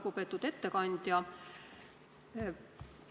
Lugupeetud ettekandja!